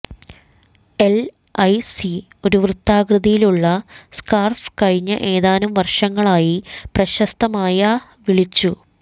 LIC ഒരു വൃത്താകൃതിയിലുള്ള scarf കഴിഞ്ഞ ഏതാനും വർഷങ്ങളായി പ്രശസ്തമായ വിളിച്ചു